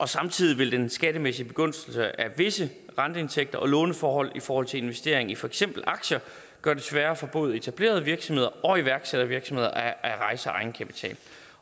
samtidig vil den skattemæssige begunstigelse af visse renteindtægter og låneforhold i forhold til investering i for eksempel aktier gøre det sværere for både etablerede virksomheder og iværksættervirksomheder at rejse egenkapital